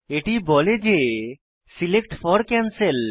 এটি বলে যে সিলেক্ট ফোর ক্যানসেল